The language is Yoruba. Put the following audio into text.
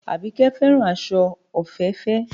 Àbíkẹ́ fẹ́ràn aṣọ òféèfé